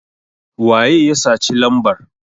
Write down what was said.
waye ya saci lambar?